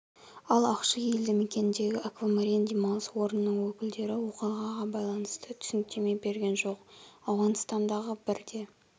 ал ақши елді мекеніндегі аквамарин демалыс орнының өкілдері оқиғаға байланысты түсініктеме берген жоқ ауғанстандағы бір де